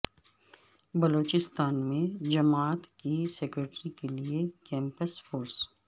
بلوچستان میں جامعات کی سکیورٹی کے لیے کیمپس فورس